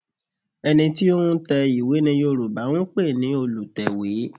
Ẹ̀ni tí ó ń tẹ ìwé ni Yorùbá ń pè ní Olùtẹ̀wé